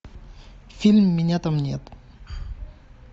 фильм меня там нет